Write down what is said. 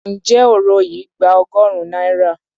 Ǹjẹ́ òro yìí gba ọgọ́rùn-ún náírà?